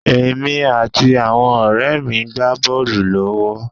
Èmi àti àwọn ọ̀rẹ́ mi gbá bọ́ọ̀lù lọ́wọ́.